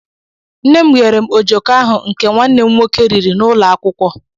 Nne m ghere ojoko ahu nke nwanne m nwoke riri n'ulo akwukwo.